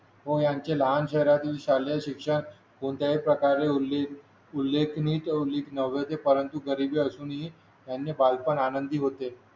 मग यांचे लहान मराठी शालेय शिक्षण कोणत्याही प्रकारे उल्लेखनीय नव्हते परंतु गरीब असूनही त्यांचे बालपण आनंदी होते